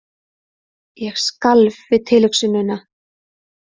Ég skalf við tilhugsunina.